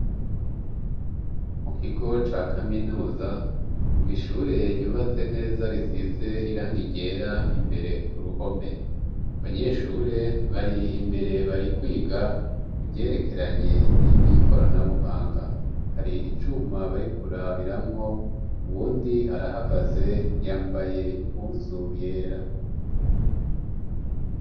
Mu kigo ca kaminuza mw' ishure ryubatse neza risize irangi ryera imbere ku ruhome; abanyeshure bari imbere bari kwiga ivyerekeranye n'ivy'ikoranabuhanga. Hari icuma bari kurabiramwo, uwundi arahagaze yambaye impuzu yera.